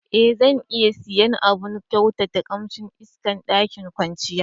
E, zan iya siya abun kyautata kamsin iska ma ɗakin kwanciyar